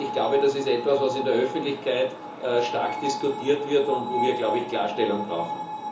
Ich glaube, das ist etwas, was in der Öffentlichkeit stark diskutiert wird und wo wir Klarstellung brauchen.